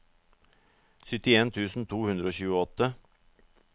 syttien tusen to hundre og tjueåtte